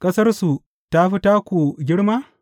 Ƙasarsu ta fi taku girma?